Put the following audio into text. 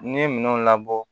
N'i ye minɛnw labɔ